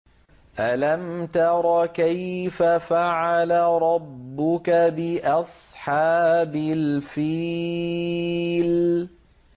أَلَمْ تَرَ كَيْفَ فَعَلَ رَبُّكَ بِأَصْحَابِ الْفِيلِ